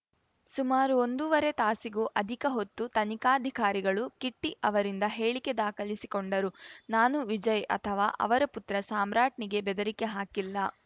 ಸುಮಾರು ಒಂದೂವರೆ ತಾಸಿಗೂ ಅಧಿಕ ಹೊತ್ತು ತನಿಖಾಧಿಕಾರಿಗಳು ಕಿಟ್ಟಿಅವರಿಂದ ಹೇಳಿಕೆ ದಾಖಲಿಸಿಕೊಂಡರು ನಾನು ವಿಜಯ್‌ ಅಥವಾ ಅವರ ಪುತ್ರ ಸಾಮ್ರಾಟ್‌ನಿಗೆ ಬೆದರಿಕೆ ಹಾಕಿಲ್ಲ